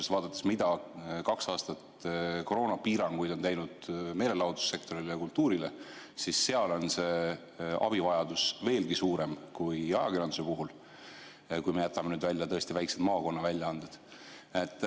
Kui vaatame, mida kaks aastat koroonapiiranguid on teinud meelelahutussektorile ja kultuurile, siis seal on abivajadus veelgi suurem kui ajakirjanduse puhul, kui jätame välja väiksed maakonnaväljaanded.